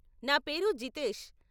నా పేరు జితేష్ .